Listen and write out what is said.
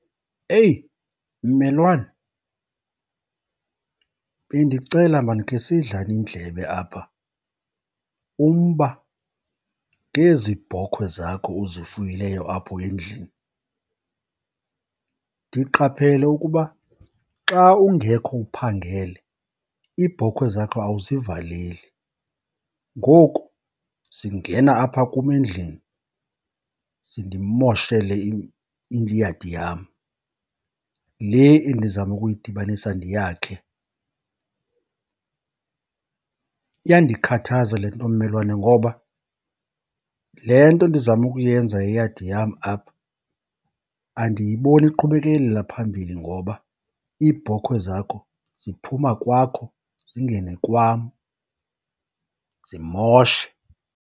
Eyi mmelwane, bendicela maan khe sidlane indlebe apha, umba ngezi bhokwe zakho uzifuyileyo apho endlini. Ndiqaphele ukuba xa ungekho, uphangele, iibhokhwe zakho awuzivaleli, ngoku zingena apha kum endlini zindimoshele iyadi yam le endizama ukuyidibanisa ndiyakhe. Iyandikhathaza le nto mmelwane ngoba le nto ndizama ukuyenza yeyadi yam apha andiyiboni iqhubekekela phambili ngoba iibhokhwe zakho ziphuma kwakho zingene kwam zimoshe.